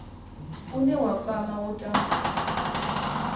une wa kwama u tambudzwa